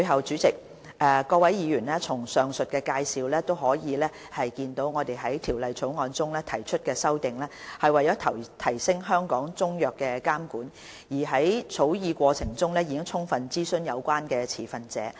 主席、各位議員，從上述的介紹可見到我們就《條例草案》提出的修正案，旨在提升香港中藥的監管水平，而在草擬過程中，有關持份者已獲得充分諮詢。